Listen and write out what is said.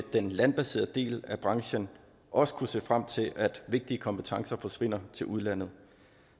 den landbaserede del af branchen også kunne se frem til at vigtige kompetencer forsvinder til udlandet